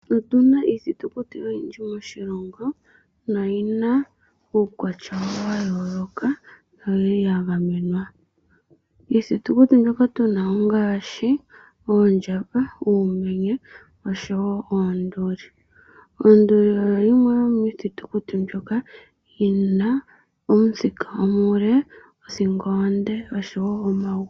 Otuna iithitukuti oyindji moshilongo noyina uukwatya wawo wayoloka noyili yagamenwa. Iithitukuti mbino ongashi Oondjamba, Uumenye oshowo Oonduli. Onduli oyo yimwe yomiithitukuti yina omuthika omule, othingo onde noshowo omagulu omale.